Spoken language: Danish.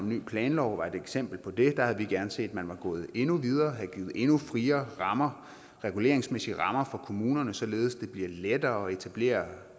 ny planlov er et eksempel på det der havde vi gerne set at man var gået endnu videre havde givet endnu friere reguleringsmæssige rammer for kommunerne således at blive lettere at etablere